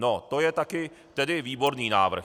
No, to je taky tedy výborný návrh!